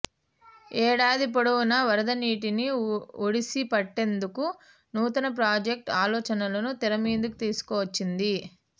ఏడాది పొడవునా వరద నీటిని ఒడిసిపట్టేందుకు నూతన ప్రాజెక్ట్ ఆలోచలను తెరమీదకు తీసుకువచ్చింది